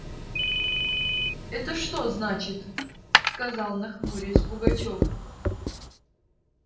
это что значит сказал нахмурясь пугачёв